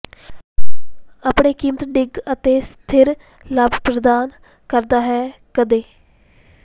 ਆਪਣੇ ਕੀਮਤ ਡਿੱਗ ਅਤੇ ਸਥਿਰ ਲਾਭ ਪ੍ਰਦਾਨ ਕਰਦਾ ਹੈ ਕਦੇ